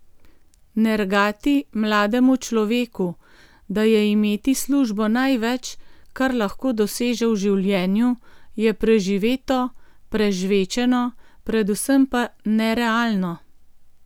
Nergati mlademu človeku, da je imeti službo največ, kar lahko doseže v življenju, je preživeto, prežvečeno, predvsem pa nerealno.